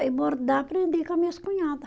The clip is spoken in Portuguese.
E bordar aprendi com as minhas cunhada.